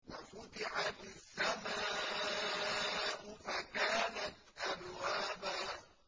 وَفُتِحَتِ السَّمَاءُ فَكَانَتْ أَبْوَابًا